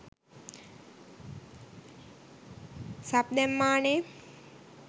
Sub දැම්මානෙ.